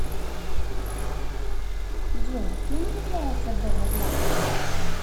джой кем является белла златкис